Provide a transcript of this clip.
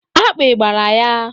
Akpị gbara ya.